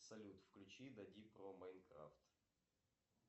салют включи дади про майнкрафт